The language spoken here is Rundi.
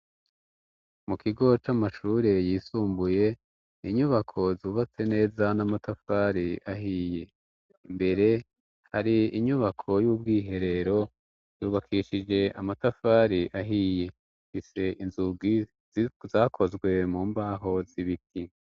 Mu kigo c'amashure yisumbuye, inyubako zubatse neza n'amatafari ahiye. Imbere hari inyubako y'ubwiherero yubakishije amatafari ahiye, ifise inzugi zakozwe mu mbaho z'ibiti.